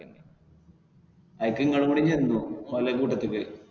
അയിക്ക് ഇങ്ങളും കൂടെ ചെന്നു ഓലെ കൂട്ടത്തിക്ക്.